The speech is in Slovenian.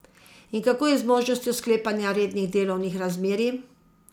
In kako je z možnostjo sklepanja rednih delovnih razmerij?